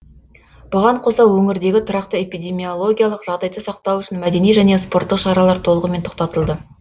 бұған қоса өңірдегі тұрақты эпидемиологиялық жағдайды сақтау үшін мәдени және спорттық шаралар толығымен тоқтатылды